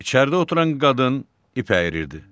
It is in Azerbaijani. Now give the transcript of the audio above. İçəridə oturan qadın ip əyirirdi.